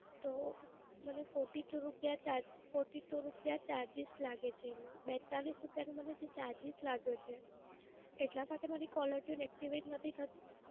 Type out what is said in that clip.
તો મને forty-two રૂપયા charge, forty-two રૂપયા charges લાગે છે. બેત્તાલીસ રૂપયાનું મને જે charges લાગ્યો છે. એટલા માટે મારી caller tune activate નથી થતી?